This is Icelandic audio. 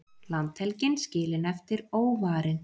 Landhelgin skilin eftir óvarin